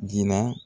Jira